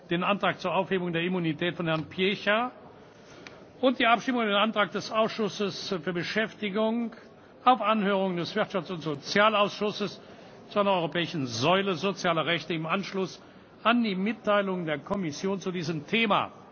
den Antrag zur Aufhebung der Immunität von Herrn Piecha und die Abstimmung über den Antrag des Ausschusses für Beschäftigung auf Anhörung des Europäischen Wirtschafts und Sozialausschusses zu einer europäischen Säule sozialer Rechte im Anschluss an die Mitteilung der Kommission zu diesem Thema.